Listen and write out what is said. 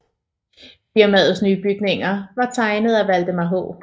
Firmaets nye bygninger var tegnet af Valdemar H